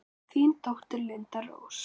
Þín dóttir, Linda Rós.